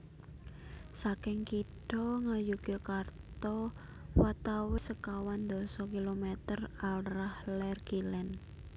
Saking kitha Ngayogyakarta watawis sekawan dasa kilometer arah lèr kilèn